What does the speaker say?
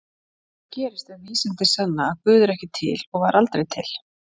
Hvað gerist ef vísindin sanna að Guð er ekki til og var aldrei til?